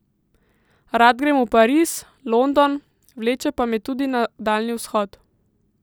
Rad grem v Pariz, London, vleče pa me tudi na Daljni vzhod.